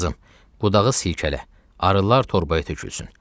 İndi qızım, budağı silkələ, arılar torbaya tökülsün.